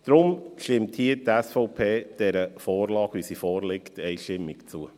Daher stimmt die SVP dieser Vorlage so, wie sie vorliegt, einstimmig zu.